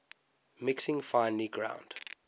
mixing finely ground